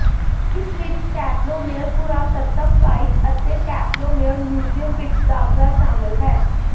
fees ਵਿਚ Templo Mayor ਪੁਰਾਤੱਤਵ site ਅਤੇ ਟੈਂਪਲੋ ਮੇਅਰ ਮਿਊਜ਼ੀਅਮ ਵਿਚ ਦਾਖ਼ਲਾ ਸ਼ਾਮਲ ਹੈ